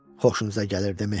Xoşunuza gəlirdimi?